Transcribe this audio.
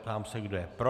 Ptám se, kdo je pro.